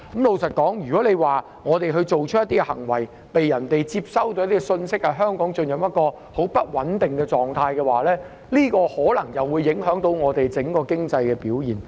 老實說，如果我們做出某些行為，而別人接收到的信息是香港進入很不穩定的狀態，這樣很可能會影響香港整體的經濟表現。